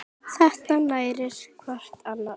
Þetta nærir hvað annað.